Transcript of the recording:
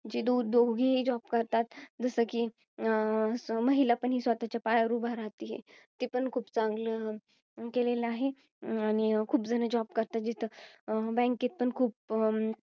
जी दु~ दोन्ही job करतात. जसं कि, महिला पण स्वतःच्या पायावर उभी राहत्ये. ते पण खूप चांगलं, गेलेलं आहे. आणि खूप जण job करतात, जिथं, bank मध्ये पण खूप